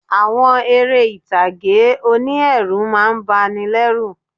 Àwọn eré ìtàgé oní ẹ̀rù má a ń bani lẹ́ rù